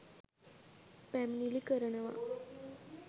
පැමිණිලි කරනවා.